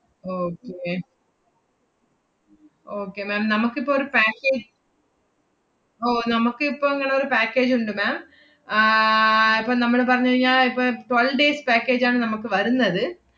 okay okay ma'am നമുക്കിപ്പ ഒരു package ഓ, നമ്മക്ക് ഇപ്പം ഇങ്ങനൊരു package ഇണ്ട് ma'am. ആഹ് ഇപ്പ നമ്മള് പറഞ്ഞ് കഴിഞ്ഞാ ഇപ്പ~ twelve days package ആണ് നമ്മക്ക് വരുന്നത്.